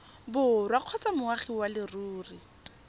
borwa kgotsa moagi wa leruri